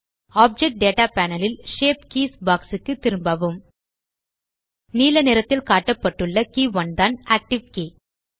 object data panel ல் shape keys box க்கு திரும்பவும் நீல நிறத்தில் காட்டப்பட்டுள்ள கே 1 தான் ஆக்டிவ் கே